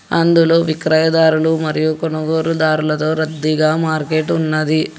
అందులో విక్రయ దారులు మరియు కొనుగోలుదారులతో రద్దీగా మార్కెట్ ఉన్నది.